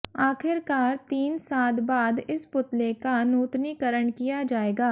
आखिरकार तीन साद बाद इस पुतले का नूतनिकरण किया जाएगा